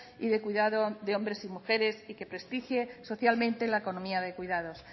y de cuidado de hombres y mujeres y que prestigie socialmente la economía de cuidados